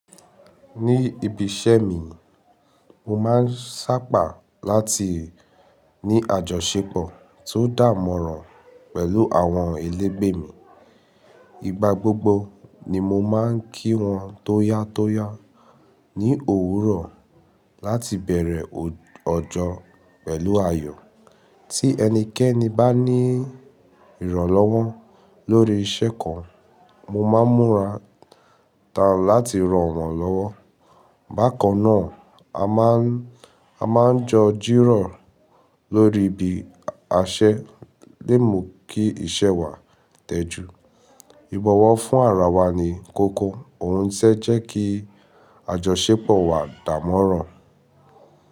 Ní ibi iṣẹ́ mi, mo máa ń sáàpà láti ní àjọṣepọ̀ tó dààmọ́ràn pẹ̀lú àwọn ẹlẹ́gbẹ́ mi. Ìgbà gbogbo ni mo máa ń kí wọn tóyátóyá ní òwúrọ̀ láti bẹ̀rẹ̀ ọjọ́ pẹ̀lú ayọ̀. Tí ẹnikẹ́ni bá ní ìrànlọ́wọ́ lórí iṣẹ́ kan, mo máa ń múra tán láti ran wọn lọ́wọ́. Bákan náà, a máa ń jọ jírọ̀ lórí ibi aṣẹ́ lé mo kí iṣẹ́ wa tẹjú. Ìbọ̀wọ̀ fún ara wa ni kókó, òun ṣé jẹ́ kí àjọṣepọ̀ wa dàmọ́ràn.